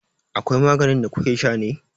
Akwai maganin da kukesha ne?